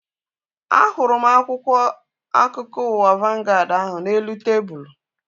A hụrụ m akwụkwọ akụkọ ụwa vangaad ahu n'elu tebụlu